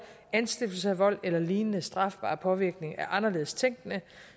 anstiftelse af vold eller lignende strafbar påvirkning af anderledes tænkende